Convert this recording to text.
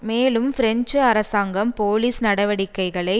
மேலும் பிரெஞ்சு அரசாங்கம் போலீஸ் நடவடிக்கைகளை